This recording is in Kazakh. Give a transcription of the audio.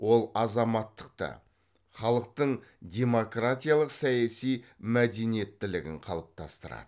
ол азаматтықты халықтың демократиялық саяси мәдениеттілігін қалыптастырады